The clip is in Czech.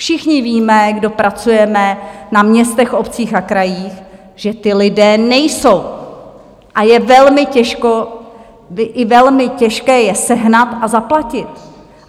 Všichni víme, kdo pracujeme na městech, obcích a krajích, že ti lidé nejsou, a je velmi těžké je sehnat a zaplatit.